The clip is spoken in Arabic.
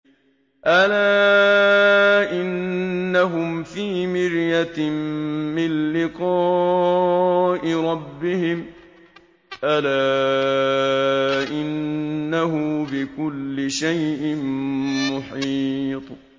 أَلَا إِنَّهُمْ فِي مِرْيَةٍ مِّن لِّقَاءِ رَبِّهِمْ ۗ أَلَا إِنَّهُ بِكُلِّ شَيْءٍ مُّحِيطٌ